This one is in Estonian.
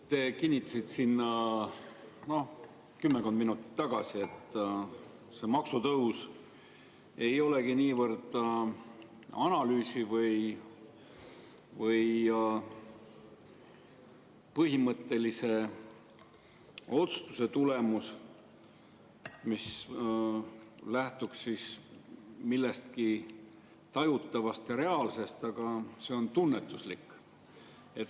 Te kinnitasite kümmekond minutit tagasi, et see maksutõus ei olegi niivõrd analüüsi või põhimõttelise otsustuse tulemus, see ei lähtu millestki tajutavast ja reaalsest, vaid see on tunnetuslik.